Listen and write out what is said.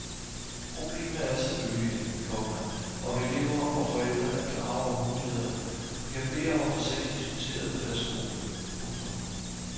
Problemet er selvfølgelig, komma om elever og forældre er klare over mulighederne og kan bede om at få sagen diskuteret på deres skole. punktum